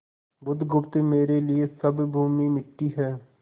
बुधगुप्त मेरे लिए सब भूमि मिट्टी है